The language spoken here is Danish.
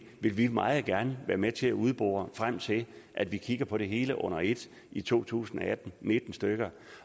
vil vi meget gerne være med til at udbore frem til at vi kigger på det hele under et i to tusind og atten nitten